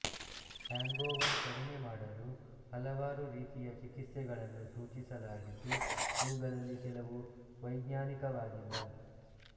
hangover ಕಡಿಮೆ ಮಾಡಲು ಹಲವಾರು ರೀತಿಯ ಚಿಕಿತ್ಸೆಗಳನ್ನು ಸೂಚಿಸಲಾಗಿದ್ದು ಇವುಗಳಲ್ಲಿ ಕೆಲವು ವೈಜ್ಞಾನಿಕವಾಗಿಲ್ಲ